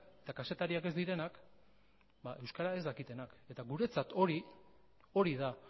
eta kazetariak ez direnak euskera ez dakitenak eta guretzat hori da